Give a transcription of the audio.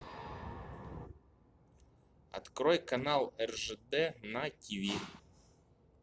открой канал ржд на тв